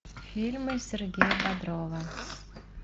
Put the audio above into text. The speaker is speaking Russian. фильмы сергея бодрова